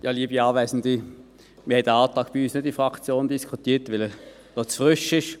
Wir haben den Antrag bei uns in der Fraktion nicht diskutiert, weil er zu frisch ist.